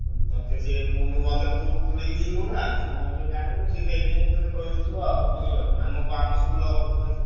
ତତେ ସିଏ ମତେ ତୁ ଭଲକି ଚିହ୍ନିନୁ ନା ସିଏ ମୋ ବିଷୟରେ ଜାଣିନି ତତେ ସେଇଠି ପାଇଁ କହିଦେଇଥିବ ଆଉ ବୁଝିପାରୁଛୁ ନା ଆମ ସ୍କୁଲ ରେ ପଢଉଥିଲ ସିଏ।